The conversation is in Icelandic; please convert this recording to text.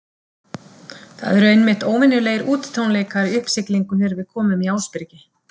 Það eru einmitt óvenjulegir útitónleikar í uppsiglingu þegar við komum í Ásbyrgi.